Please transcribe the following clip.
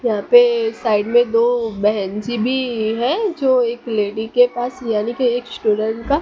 यहां पे साइड में दो बहेन जी भी है जो एक लेडी के पास यानी कि एक स्टूडेंट का--